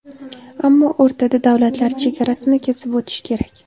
Ammo o‘rtada davlatlar chegarasini kesib o‘tish kerak.